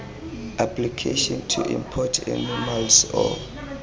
application to import animals or